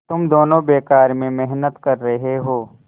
तुम दोनों बेकार में मेहनत कर रहे हो